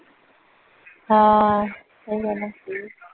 ਹਾਂ ਏ ਗੱਲ ਠੀਕ